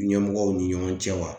Ɲɛmɔgɔw ni ɲɔgɔn cɛ wa